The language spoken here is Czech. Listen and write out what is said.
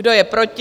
Kdo je proti?